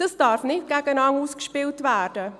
Dies darf nicht gegeneinander ausgespielt werden.